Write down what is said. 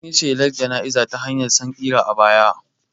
An yi shelar jana'izar ta hanyar sankira a baya